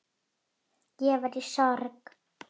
Ég var í sorg.